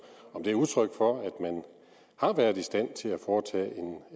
er udtryk for at man har været i stand til at foretage